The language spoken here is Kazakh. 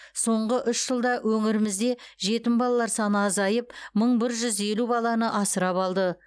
соңғы үш жылда өңірімізде жетім балалар саны азайып мың бір жүз елу баланы асырап алды